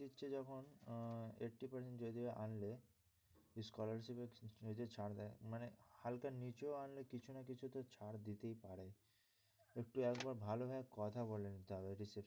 দিচ্ছে যখন eighty percent যদি বা আনলে scholarship যে ছাড় দেয় মানে হালকা নীচেও আনলে কিছু না কিছু তো ছাড় দিতেই পারে একটু একবার ভালো ভাবে কথা বলে নিতে হবে।